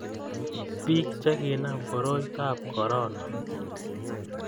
Piik Che kinam koroitob corona